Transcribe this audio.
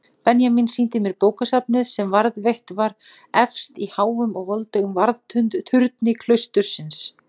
Benjamín sýndi mér bókasafnið sem varðveitt var efst í háum og voldugum varðturni klaustursins.